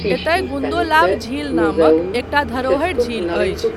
एतय गुन्दोलाव झील नामक एकटा धरोहरि झील अछि।